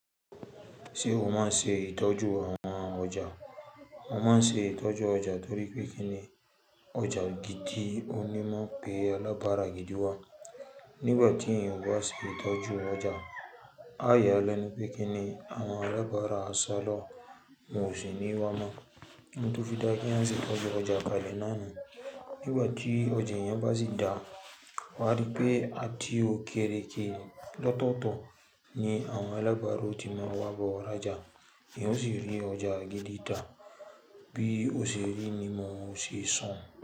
Ṣé o máa ń ṣe ìtọ́jú àwọn ọjà? Mo máa ń ṣe ìtọ́jú ọjà torí pé kíni ọjà gidi o ní maa n pé alábárà gidi wá. Nígbà tí èèyàn o bá ṣe ìtọ́jú ọjà, a yáa lẹ́nu pé kíni àwọn alábárà aṣọ lọ́, won o ṣì ní wá mọ́. Òún to fi dáa keeyan ṣe ìtọ́jú ọjà kalẹ̀ náà nu. Nígbà tí ọjà eeyan bá sì dáa, wàá rí pé a ti okéeré jina ló tóọ̀to ni àwọn alábárà ó ti máa wá bọ́ọ̀ rajà. Eeyan o sì rí ọjà gidi tá, bí o ṣe rí ni mò ṣe sọ̀ hun.